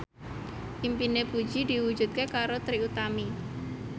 impine Puji diwujudke karo Trie Utami